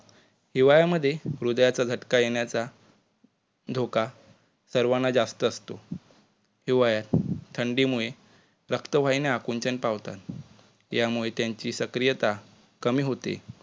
हिवाळ्यामध्ये हृदयाचा झटका येण्याचा धोका सर्वाना जास्त असतो. हिवाळ्यात थंडीमुळे रक्तवाहिन्या आकुंचन पावतात यामुळे त्यांची सक्रियता कमी होते.